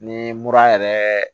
Ni mura yɛrɛ